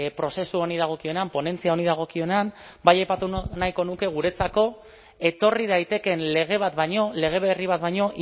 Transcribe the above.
prozesu honi dagokionean ponentzia honi dagokionean bai aipatu nahiko nuke guretzako etorri daitekeen lege bat baino lege berri bat baino